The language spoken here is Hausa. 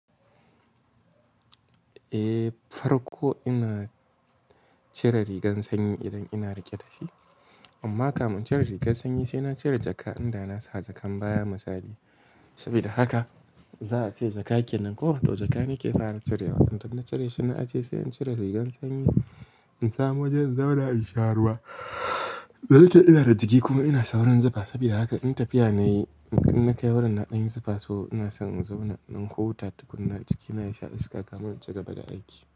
Eh, farko ina cire rigan sanyi idan ina riƙe da shi, amma kafin in cire rigan sanyi sai na cire jaka in da na sa jakan baya misali. Saboda haka za a ce jakakeil nan ko da jaka ne ke fara cirewa. Idan na cire shi na a ce sai in cire rigan sanyi in samu wajen zauna in sha ruwa. Zai taɗe ina da jiki kuma ina sha'awan zafi. Saboda haka in tafiya nayi, in kai wurin na ɗan yi zafi so ina son in zauna in hau wuta duk na jiki na sha iska kafin in cigaba da aiki.